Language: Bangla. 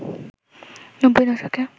৯০ দশকে